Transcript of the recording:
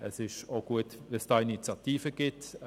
Es ist auch gut, dass es dazu eine Initiative gibt.